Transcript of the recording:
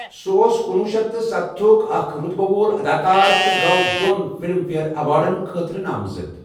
سۄ اوس کُنوُہ شیٚتھ تہٕ سَتتھَ تھُک اکھ رۄتبہٕ وول اداکار تہٕ گوٚو دۄن فلم فیئر ایوارڈن خٲطرٕ نامزد۔